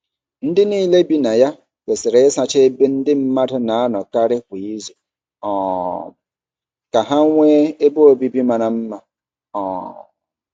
Ndị niile bi na ya kwesịrị ịsacha ebe ndị mmadụ na-anọkarị kwa izu um ka ha nwee ebe obibi mara mma. um